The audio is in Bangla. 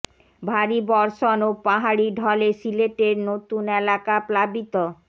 ভারী বর্ষণ ও পাহাড়ি ঢলে সিলেটের নতুন এলাকা প্লাবিত